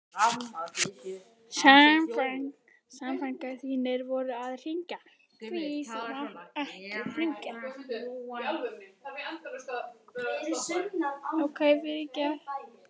Samfangar þínir voru að hringja, því þú mátt ekki hringja.